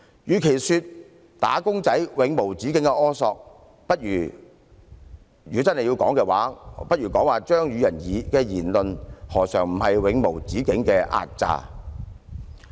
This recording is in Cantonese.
與其說"打工仔"的要求是永無止境的苛索，不如說張宇人議員的言論不是代表了一種永無止境的壓榨。